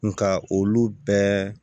Nga olu bɛɛ